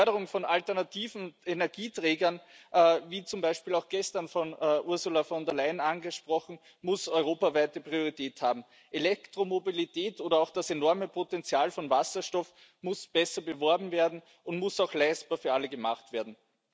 Die Förderung von alternativen Energieträgern, wie zum Beispiel auch gestern von Ursula von der Leyen angesprochen, muss europaweite Priorität haben. Elektromobilität oder auch das enorme Potenzial von Wasserstoff muss besser beworben werden und muss auch für alle leistbar gemacht werden.